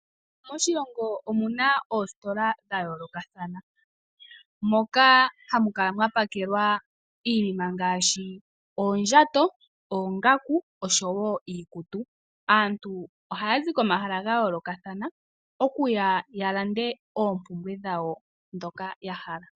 Moshilongo omu na oositola dha yoolokathana, moka hamu kala mwa pakelwa iinima ngaashi oondjato, oongaku oshowo iikutu. Aantu ohaa zi komahala ga yoolokathana okuya ya lande oompumbwe dhawo ndhoka ya hala.